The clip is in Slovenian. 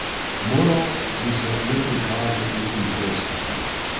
Moral bi se le prikazati in ploskati.